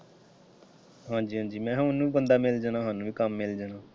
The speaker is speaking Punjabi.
ਹਾਂਜ਼ੀ ਹਾਂਜ਼ੀ ਮੈਂ ਕਿਹਾ ਉਹਨੂੰ ਵੀ ਬੰਦਾ ਮਿਲ ਜਾਣਾ ਸਾਨੂੰ ਵੀ ਕੰਮ ਮਿਲ ਜਾਣਾ।